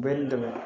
Bɛɛ n'i dɛmɛ